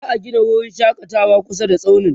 za'a Gina wurin shakatawa kusa da tsaunin